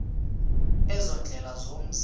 ezo ziindlela zomzi